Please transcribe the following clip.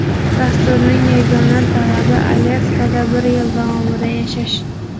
Dasturning yagona talabi Alyaskada bir yil davomida yashash.